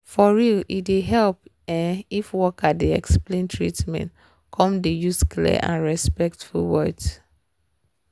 for real e dey help ehm if worker dey explain treatment come dey use clear and respectful words